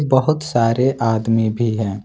बहुत सारे आदमी भी है।